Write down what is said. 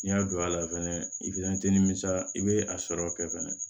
N'i y'a don a la fɛnɛ i i bɛ a sɔrɔ kɛ fɛnɛ